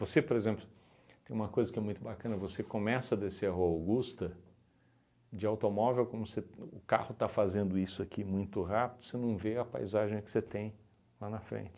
Você, por exemplo, tem uma coisa que é muito bacana, você começa a descer a rua Augusta, de automóvel, como se o o carro está fazendo isso aqui muito rápido, você não vê a paisagem que você tem lá na frente.